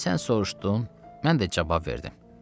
Sən soruşdun, mən də cavab verdim.